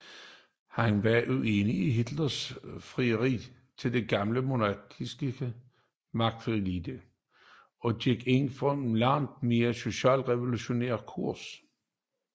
Han var uenig i Hitlers frieri til den gamle monarkistiske magtelite og gik ind for en langt mere socialrevolutionær kurs